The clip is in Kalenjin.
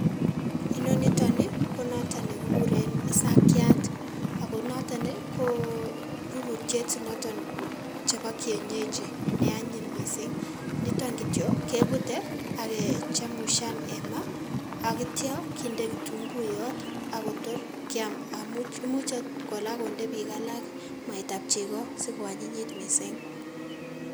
Inoniton ii ko noton nekikuren isakiat ago noton ko rurutiet noton chebo kienyeji neanyiny missing' . Niton kitiok kebute ak kechemusian en maa ak kitio kinde kitunguyot ak kotor kiam amun imuch ot kinde biik alak mwaitab chego sikoanyinyit missing'.